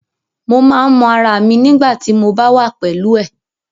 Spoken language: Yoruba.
Mo máa n mọ ará mi nigbati mo ba wà pẹlú ẹ.